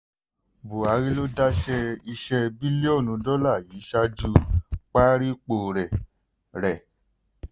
buhari ló dáṣẹ iṣẹ́ bílíọ̀nù dọ́là yìí ṣáájú parípò rẹ̀. rẹ̀.